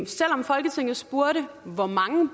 selv om folketinget spurgte hvor mange